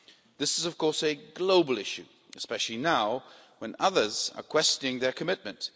This is of course a global issue, especially now when others are questioning their commitment.